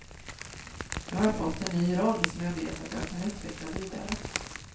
Nu har jag fått en ny roll som jag vet att jag kan utveckla vidare.